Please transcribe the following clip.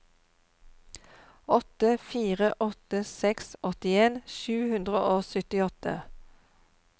åtte fire åtte seks åttien sju hundre og syttiåtte